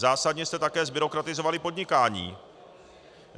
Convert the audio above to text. Zásadně jste také zbyrokratizovali podnikání.